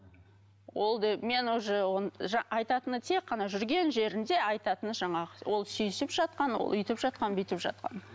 ол деп мен уже оны айтатыны тек қана жүрген жерінде айтатыны жаңағы ол сүйісіп жатқан ол бүйтіп жатқан ол бүйтіп жатқан